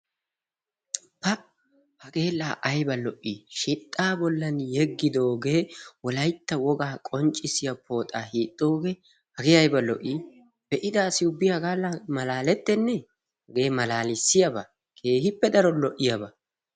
Pa! Hage la aybba lo"i! Shixxa bolli yegidooge wolaytta woga qonccissiya pooxa hiixooge hagee aybba lo"i! Be'ida asi ubbi haga malaalettene! Hagee nalalissiyaaba keehippe daro lo"iyaaba.